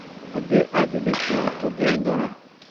Haddii aad i dhibto, waan kuu ducayn doonaa